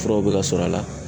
Furaw bɛ ka sɔrɔ a la.